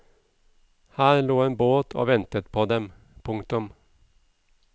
Her lå en båt og ventet på dem. punktum